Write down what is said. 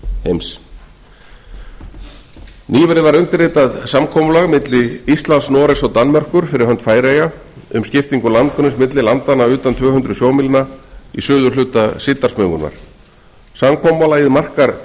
heims nýverið var undirritað samkomulag milli íslands noregs og danmerkur fyrir hönd færeyja um skiptingu landgrunns milli landanna utan tvö hundruð sjómílna í suðurhluta síldarsmugunnar samkomulagið markar